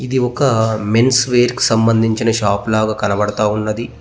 ఇది ఒక men's wear కి సంబంధించిన షాప్ లాగ కనబడతా ఉన్నది.